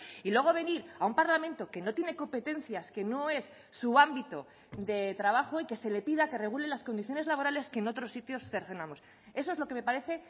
y luego venir a un parlamento que no tiene competencias que no es su ámbito de trabajo y que se le pida que regule las condiciones laborales que en otros sitios cercenamos eso es lo que me parece